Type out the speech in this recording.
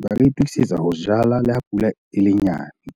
ba ka itokisetsa ho jala le ha pula e le nyane.